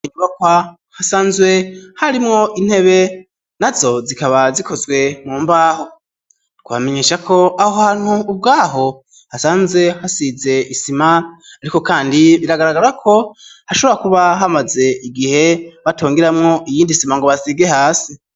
Nbakwa hasanzwe harimwo intebe na zo zikaba zikozwe mu mbaho twamenyesha ko aho hantu ubwaho hasanze hasize isima, ariko, kandi biragaragara ko hashobora kuba hamaze igihe batongeramwo iyindisima ngo basige hasi.